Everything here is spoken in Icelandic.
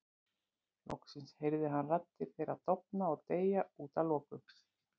Loksins heyrði hann raddir þeirra dofna og deyja út að lokum.